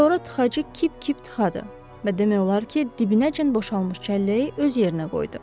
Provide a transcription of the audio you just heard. Sonra tıxacığı kip-kip tıxadı və demək olar ki, dibinəcən boşalmış çəlləyi öz yerinə qoydu.